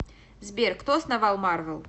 сбер кто основал марвел